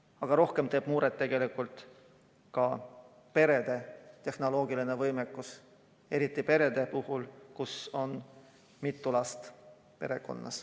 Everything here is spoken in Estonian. Aga veel rohkem muret teeb tegelikult perede tehnoloogiline võimekus, eriti perede puhul, kus on mitu last.